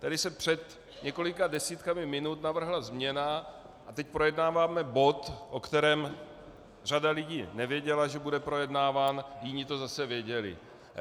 Tady se před několika desítkami minut navrhla změna a teď projednáváme bod, o kterém řada lidí nevěděla, že bude projednáván, jiní to zase věděli.